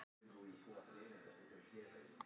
Akstursleiðum strætó breytt vegna gleðigöngu